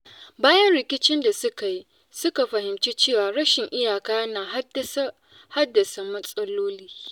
Bayan rikicin da suka yi, suka fahimci cewa rashin iyaka yana haddasa matsaloli.